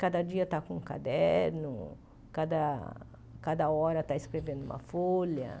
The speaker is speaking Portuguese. Cada dia está com um caderno, cada cada hora está escrevendo uma folha.